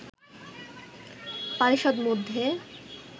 পারিষদ মধ্যে